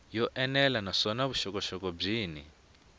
yo enela naswona vuxokoxoko byin